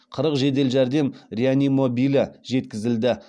қырық жедел жәрдем реанимобилі жеткізілді